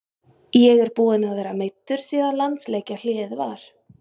Ég er búinn að vera meiddur síðan landsleikjahléið var.